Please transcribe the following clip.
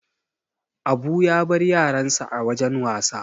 Abu ya bar yaransa a wajan wasa.